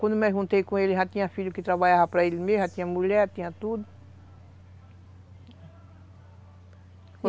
Quando me juntei com ele, já tinha filho que trabalhava para ele mesmo, já tinha mulher, tinha tudo.